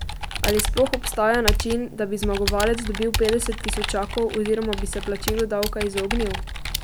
Ali sploh obstaja način, da bi zmagovalec dobil petdeset tisočakov oziroma bi se plačilu davka izognil?